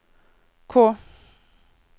K